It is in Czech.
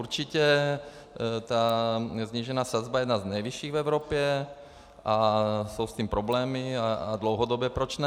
Určitě, ta snížená sazba je jedna z nejvyšších v Evropě a jsou s tím problémy a dlouhodobě, proč ne?